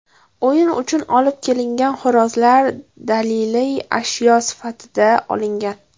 O‘yin uchun olib kelingan xo‘rozlar daliliy ashyo sifatida olingan.